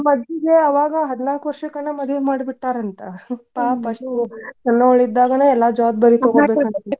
ನಮ್ಮ ಅಜ್ಜಿಗೆ ಅವಾಗ ಹದ್ನಾಕ್ ವರ್ಷಕ್ಕನ ಮದ್ವಿ ಮಾಡಿ ಬಿಟ್ಟಾರ ಅಂತ್ ಸಣ್ಣವ್ರಿದ್ದಾಗನ ಎಲ್ಲಾ ಜವಾಬ್ದಾರಿ .